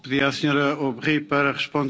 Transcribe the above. C'est précisément tout le problème.